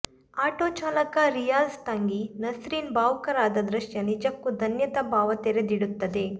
ಆಟೋಚಾಲಕ ರಿಯಾಜ್ ತಂಗಿ ನಸ್ರಿನ್ ಭಾವುಕರಾದ ದೃಶ್ಯ ನಿಜಕ್ಕೂ ಧನ್ಯತಾ ಭಾವ ತೆರದಿಡುತ್ತದೆ